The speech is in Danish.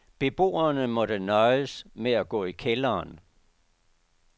Beboerne måtte nøjes med at gå i kælderen.